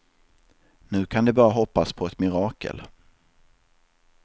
Nu kan de bara hoppas på ett mirakel.